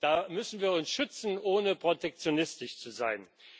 Da müssen wir uns schützen, ohne protektionistisch zu sein.